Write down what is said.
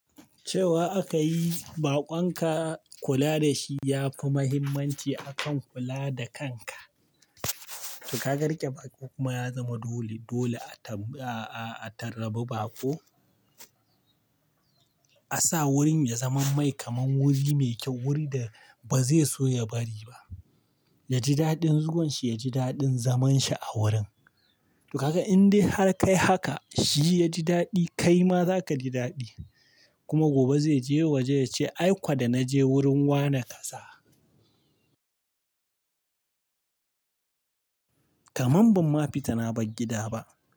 Cewa aka yi bakonka kula da shi ya fi muhimmanci akan kula da kanka. To kaga rike baƙo kuma ya zama dole, dole a, a, a tarbi baƙo. A sa wurin ya zama mai kamar wuri mai kyau, wurin da ba zai so ya bari ba. Yaji daɗin zuwan shi, yaji daɗin zaman shi a wurin. To kaga in dai har ka yi haka shi ya ji daɗi, kai ma za ka ji daɗi. Kuma gobe zai je waje ya ce "ai kuwa da na je wurin wane kasa." Kamam ban ma fita na bar gida ba.